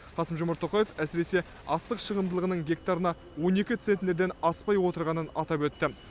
қасым жомарт тоқаев әсіресе астық шығымдылығының гектарына он екі центнерден аспай отырғанын атап өтті